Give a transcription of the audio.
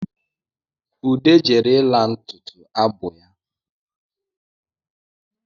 Ude jere ịla ntutu abụ ya